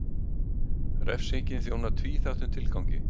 Refsingin þjónar tvíþættum tilgangi.